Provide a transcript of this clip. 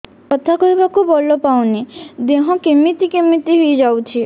କଥା କହିବାକୁ ବଳ ପାଉନି ଦେହ କେମିତି କେମିତି ହେଇଯାଉଛି